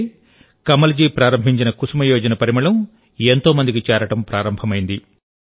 అంటే కమల్ జీ ప్రారంభించిన కుసుమ్ యోజన పరిమళం ఎంతో మందికి చేరడం ప్రారంభమైంది